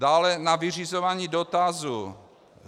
Dále na vyřizování dotazů.